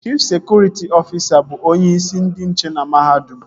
Chif sekụritị ọfisa bụ onyeisi ndị nche na mahadum